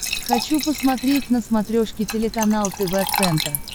хочу посмотреть на смотрешке телеканал тв центр